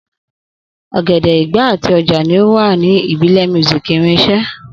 Ogene, igba, ati oja ni o wa ibile music irinṣẹ.